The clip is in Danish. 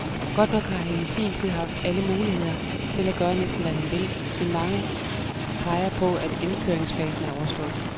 Godt nok har han i sin tid haft alle muligheder til at gøre næsten hvad han vil, men mange peger på, at indkøringsfasen er overstået.